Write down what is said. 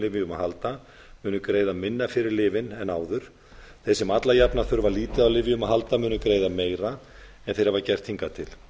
lyfjum að halda munu greiða minna fyrir lyfin en áður þegar sem alla jafna þurfa lítið á lyfjum að halda munu greiða meira en þeir hafa gert hingað til